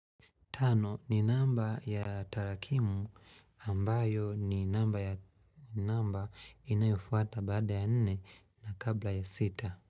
Tano ni namba ya tarakimu ambayo ni namba inayofuata baada ya nne na kabla ya sita.